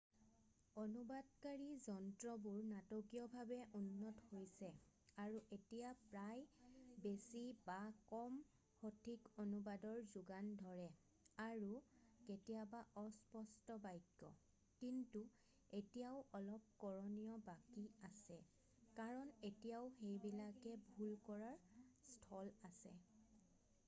অনুবাদকাৰী যন্ত্ৰবোৰ নাটকীয়ভাৱে উন্নত হৈছে আৰু এতিয়া প্ৰায় বেছি বা কম সঠিক অনুবাদৰ যোগান ধৰে আৰু কেতিয়াবা অস্পষ্ট বাক্য কিন্তু এতিয়াও অলপ কৰণীয় বাকী আছে কাৰণ এতিয়াও সেইবিলাকে ভুল কৰাৰ স্থল আছে।